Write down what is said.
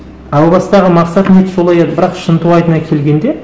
әу бастағы мақсаты не еді солай еді бірақ шынтуайтына келгенде